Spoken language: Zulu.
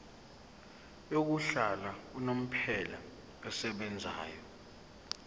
yokuhlala unomphela esebenzayo